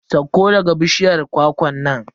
Sauko daga bishiyar kwakwan nan.